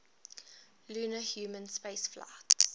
lunar human spaceflights